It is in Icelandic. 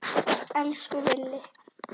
Elsku Villi.